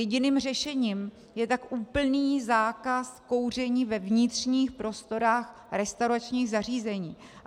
Jediným řešením je tak úplný zákaz kouření ve vnitřních prostorách restauračních zařízení.